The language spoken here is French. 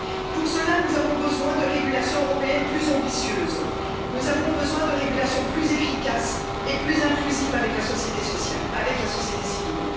Pour cela, nous avons besoin d'une régulation européenne plus ambitieuse, nous avons besoin d'une régulation plus efficace et plus inclusive avec la société civile.